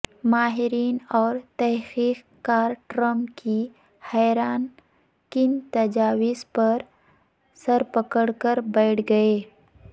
ماہرین اور تحقیق کارٹرمپ کی حیران کن تجویز پر سرپکڑ کربیٹھ گئے